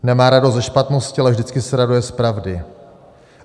Nemá radost ze špatnosti, ale vždycky se raduje z pravdy.